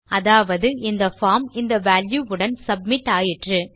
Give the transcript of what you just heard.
அதாவது இந்த பார்ம் இந்த வால்யூ உடன் சப்மிட் ஆயிற்று